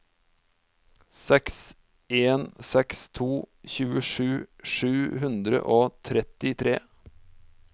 seks en seks to tjuesju sju hundre og trettitre